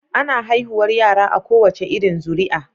Ana haihuwar yara a kowace irin zuri a